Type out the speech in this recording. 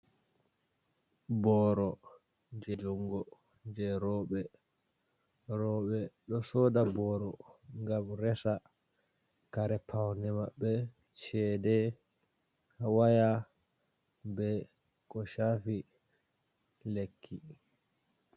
Booro jey jogugo jey rowɓe, rowɓe ɗo sooda booro ngam resa kare pawne maɓɓe, ceede, waya be ko caafi lekki.